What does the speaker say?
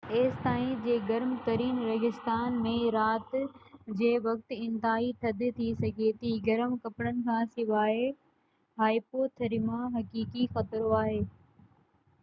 ايستائين جو گرم ترين ريگستان ۾ رات جي وقت انتهائي ٿڌ ٿي سگهي ٿي گرم ڪپڙن کان سواءِ هائيپوٿرميا حقيقي خطرو آهي